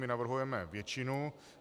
My navrhujeme většinu.